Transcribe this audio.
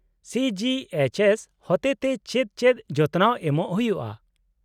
-ᱥᱤ G H S ᱦᱚᱛᱮᱛᱮ ᱪᱮᱫ ᱪᱮᱫ ᱡᱚᱛᱚᱱᱟᱣ ᱮᱢᱚᱜ ᱦᱩᱭᱩᱜᱼᱟ ?